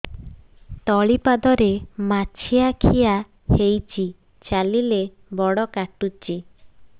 ତଳିପାଦରେ ମାଛିଆ ଖିଆ ହେଇଚି ଚାଲିଲେ ବଡ଼ କାଟୁଚି